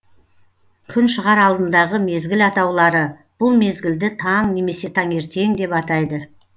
күн шығар алдындағы мезгіл атаулары бұл мезгілді таң немесе таңертең деп атайды